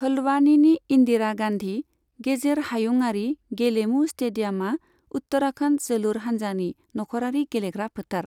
हल्द्वानीनि इन्दिरा गान्धी गेजेर हायुङारि गेलेमु स्टेडियामआ उत्तराखन्ड जोलुर हानजानि नखरारि गेलेग्रा फोथार।